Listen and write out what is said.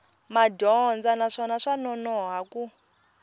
madyondza naswona swa nonoha ku